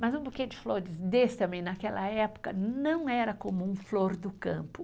Mas um buquê de flores desse também, naquela época, não era comum flor do campo.